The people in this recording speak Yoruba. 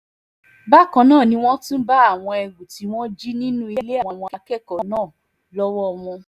bákan náà ni wọ́n tún bá àwọn ẹrù tí wọ́n jí nínú ilé àwọn akẹ́kọ̀ọ́ náà lọ́wọ́ wọn